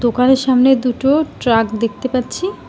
দোকানের সামনে দুটো ট্রাক দেখতে পাচ্ছি।